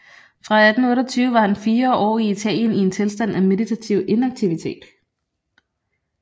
Fra 1828 var han fire år i Italien i en tilstand af meditativ inaktivitet